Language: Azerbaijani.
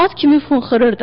At kimi funxırırdı.